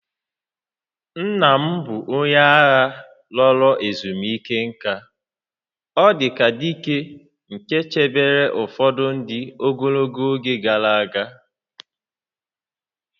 Nna m bụ onye agha laworo ezumike nka, ọ dị ka dike nke chebere ụfọdụ ndị n'ogologo oge gara aga